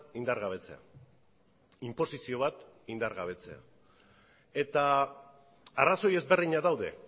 indargabetzea inposizio bat indargabetzea eta arrazoi ezberdinak daude